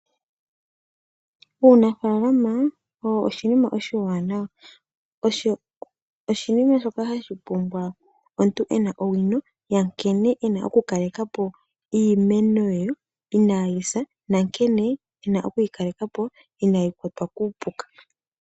Uunafaalama owo oshinima oshiwanawa, osho oshinima shoka hashi pumbwa omuntu ena owino ya nkene ena oku kaleka po iimeno ye iinayi sa nankene ena okuyi kaleka po iinayi kwatwa kuupuka.